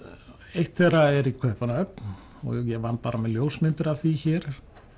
eitt þeirra er í Kaupmannahöfn og ég vann bara með ljósmyndir af því hér